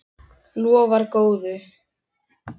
Lofar góðu.